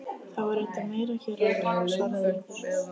Það var reyndar meira hér áður- svaraði Urður.